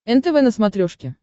нтв на смотрешке